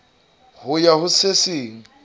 ho ya ho se seng